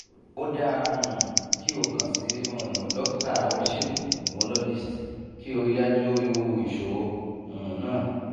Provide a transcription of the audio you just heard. o dara um ki o kan si um dokita onisegun urologist ki o rii daju iru iṣoro um naa